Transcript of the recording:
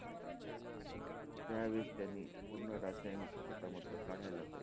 त्यावेळेस त्यांनी पूर्ण रासायनिक शेतामधलं काढायला पाहिजे.